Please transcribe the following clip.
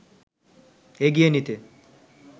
এগিয়ে নিতে